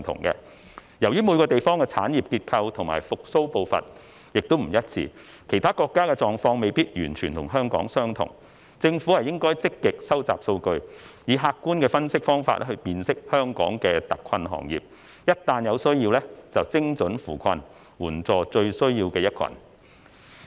由於每個地方的產業結構和復蘇步伐不—致，其他國家的狀況未必與香港完全相同，政府應該積極收集數據，以客觀的分析方法來辨識香港的特困行業，一旦有需要便精準扶困，援助最有需要的一群。